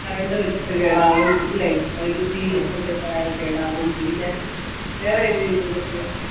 current വെച്ചിട്ട് കേടാകും ല്ലേ വൈദ്യുതി എന്തേലും ആയാൽ കേടാവും പിന്നെ വേറെ ഏത് രീതിയിൽ ഒക്കെയാ